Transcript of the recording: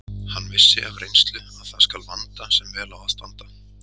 Hann vissi af reynslu að það skal vanda sem vel á að standa.